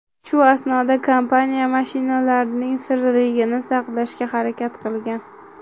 Shu asnoda kompaniya mashinalarning sirliligini saqlashga harakat qilgan.